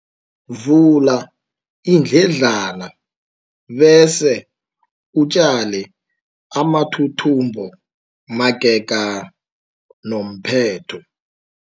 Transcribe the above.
Vula iindledlana bese utjale amathuthumbo magega nomphetho.